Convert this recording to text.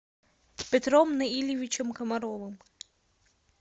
петром наилевичем комаровым